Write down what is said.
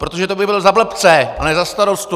Protože to bych byl za blbce a ne za starostu!